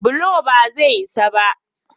bulo ba zai isa ba